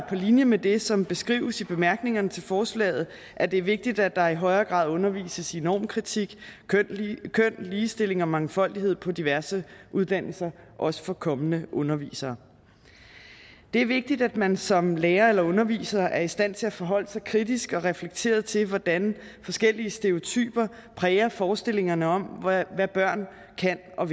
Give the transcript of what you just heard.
linje med det som beskrives i bemærkningerne til forslaget at det er vigtigt at der i højere grad undervises i normkritik køn ligestilling og mangfoldighed på diverse uddannelser også for kommende undervisere det er vigtigt at man som lærer eller underviser er i stand til at forholde sig kritisk og reflekteret til hvordan forskellige stereotyper præger forestillingerne om hvad børn kan og